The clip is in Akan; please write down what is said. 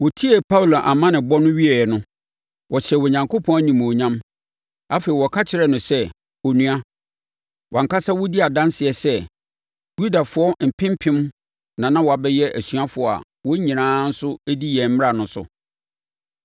Wɔtiee Paulo amanneɛbɔ no wieeɛ no, wɔhyɛɛ Onyankopɔn animuonyam. Afei, wɔka kyerɛɛ no sɛ, “Onua, wʼankasa wodi adanseɛ sɛ Yudafoɔ mpempem na na wɔabɛyɛ asuafoɔ a wɔn nyinaa nso di yɛn mmara no so.